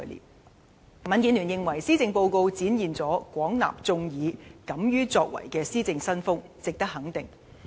民主建港協進聯盟認為，施政報告展現了"廣納眾議，敢於作為"的施政新風，值得肯定。